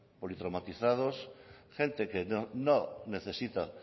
politraumatizados gente que no necesita